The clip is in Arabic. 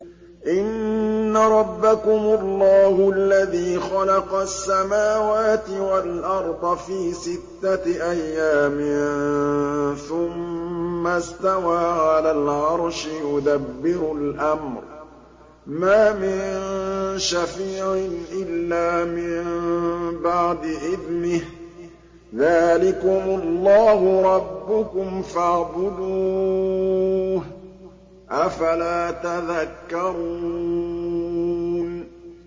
إِنَّ رَبَّكُمُ اللَّهُ الَّذِي خَلَقَ السَّمَاوَاتِ وَالْأَرْضَ فِي سِتَّةِ أَيَّامٍ ثُمَّ اسْتَوَىٰ عَلَى الْعَرْشِ ۖ يُدَبِّرُ الْأَمْرَ ۖ مَا مِن شَفِيعٍ إِلَّا مِن بَعْدِ إِذْنِهِ ۚ ذَٰلِكُمُ اللَّهُ رَبُّكُمْ فَاعْبُدُوهُ ۚ أَفَلَا تَذَكَّرُونَ